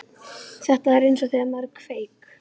Þetta er eins og þegar maður kveik